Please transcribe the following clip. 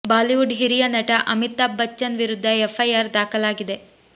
Bollywood ಹಿರಿಯ ನಟ ಅಮಿತಾಬ್ ಬಚ್ಚನ್ ವಿರುದ್ಧ ಎಫ್ ಐ ಆರ್ ದಾಖಲಾಗಿದೆ